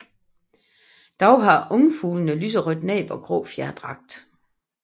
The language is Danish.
Dog har ungfuglene lyserødt næb og grå fjerdragt